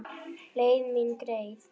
Leið mín greið.